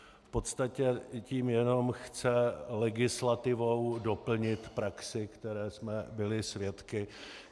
V podstatě tím jenom chce legislativou doplnit praxi, které jsme byli svědky.